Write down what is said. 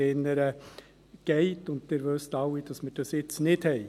Sie wissen alle, dass wir dies jetzt nicht haben.